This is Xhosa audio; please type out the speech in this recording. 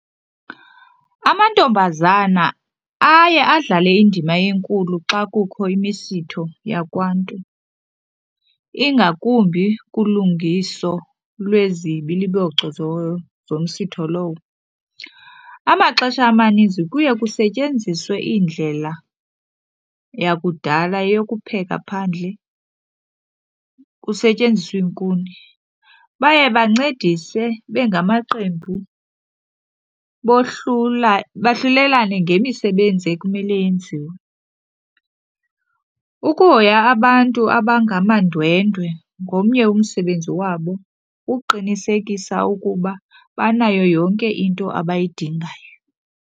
Amantombazana aye adlale indima enkulu xa kukho imisitho yakwaNtu ingakumbi kulungiso lwezibiliboco zomsitho lowo. Amaxesha amaninzi kuye kusetyenziswe iindlela yakudala yokupheka phandle kusetyenziswe iinkuni. Baye bancedise bengamaqembu bohlula bahlulelane ngemsebenzi ekumele yenziwe. Ukuhoya abantu abangamandwendwe ngomnye womsebenzi wabo, ukuqinisekisa uba banayo yonke into abayidingayo.